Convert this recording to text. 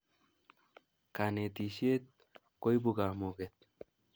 Kanetishet koipu kamuket